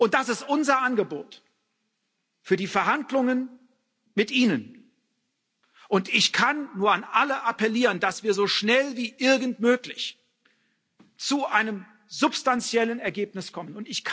Das ist unser Angebot für die Verhandlungen mit Ihnen. Ich kann nur an alle appellieren, dass wir so schnell wie irgend möglich zu einem substanziellen Ergebnis kommen.